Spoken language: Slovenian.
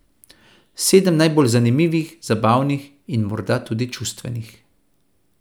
Sedem najbolj zanimivih, zabavnih in morda tudi čustvenih.